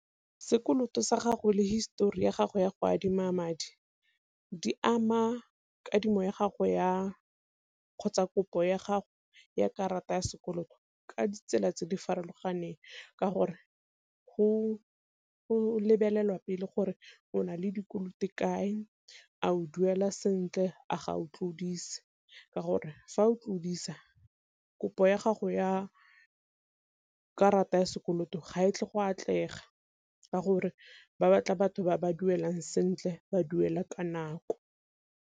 Sekoloto sa gago le histori ya gago ya go adima madi di ama kadimo ya gago ya kgotsa kopo ya gago ya karata ya sekoloto ka ditsela tse di farologaneng ka gore, go lebelelwa pele gore o na le dikoloto kae a o duela sentle a ga o tlodise. Ka gore fa o tlodisa kopo ya gago ya karata ya sekoloto ga e tle go atlega ka gore ba batla batho ba ba duelang sentle ba duela ka nako.